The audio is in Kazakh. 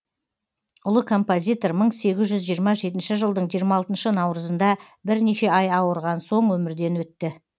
ұлы композитор мың сегіз жүз жиырма жетінші жылдың жиырма алтыншы науырызында бірнеше ай ауырған соң өмірден өтті